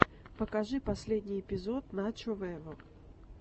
покажи последний эпизод начо вево